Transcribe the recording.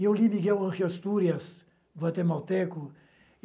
Eu li Miguel Ángel Astúrias, do Antemalteco.